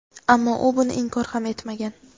ammo u buni inkor ham etmagan.